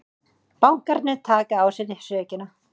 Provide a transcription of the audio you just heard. Bankarnir taki á sig sökina